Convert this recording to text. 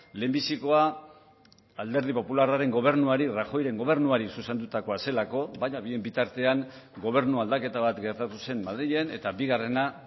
lehenbizikoa alderdi popularraren gobernuari rajoyren gobernuari zuzendutakoa zelako baina bien bitartean gobernu aldaketa bat gertatu zen madrilen eta bigarrena